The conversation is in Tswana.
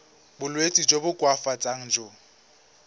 bolwetsi jo bo koafatsang jo